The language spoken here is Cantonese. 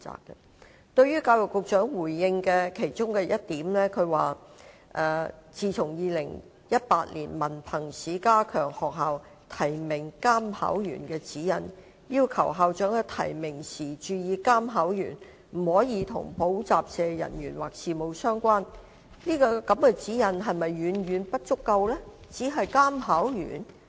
就教育局局長回應的其中一點："在2018年文憑試加強學校提名監考員的指引，要求校長在提名時注意監考員不可與補習社人員或事務相關"，這個指引是否遠遠不足？